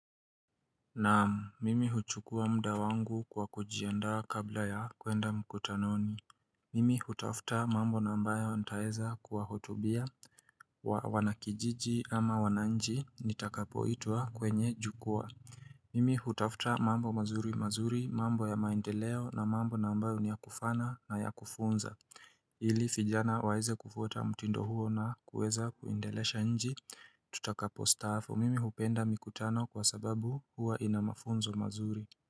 Naam, mimi huchukua muda wangu kwa kujiandaa kabla ya kwenda mkutanoni. Mimi hutafta mambo na ambayo nitaeza kuwahotubia wanakijiji ama wananchi nitakapoitwa kwenye jukwaa. Mimi hutafta mambo mazuri mazuri, mambo ya maendeleo na mambo na ambayo niyakufaana na ya kufunza. Ili fijana waeze kufuta mtindo huo na kueza kuendelesha nji Tutakapostaafu mimi hupenda mikutano kwa sababu hua ina mafunzo mazuri.